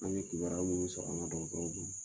An be kibariya minnu sɔrɔ an ka dɔgɔtɔrɔw bolo.